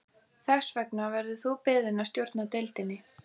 Þess vegna verður þú beðinn að stjórna deildinni